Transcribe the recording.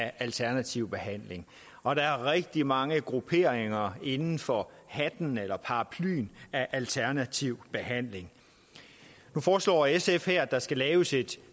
af alternativ behandling og der er rigtig mange grupperinger inden for hatten eller paraplyen af alternativ behandling nu foreslår sf her at der skal laves et